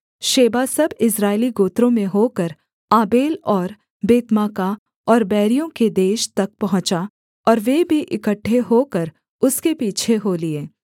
Sheba सब इस्राएली गोत्रों में होकर आबेल और बेतमाका और बैरियों के देश तक पहुँचा और वे भी इकट्ठे होकर उसके पीछे हो लिए